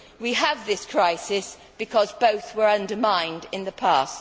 We have this crisis because both were undermined in the past.